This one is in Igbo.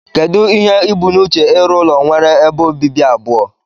Kedu ihe ubu na uche irụ ụlọ nwere ebe obibi abụọ?